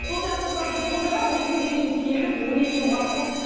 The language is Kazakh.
сол сияқты мысалы біз сонда да осы күнге дейін келдік он екі жыл уақыт болды